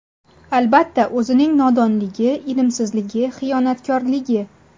Albatta, o‘zining nodonligi, ilmsizligi, xiyonatkorligi.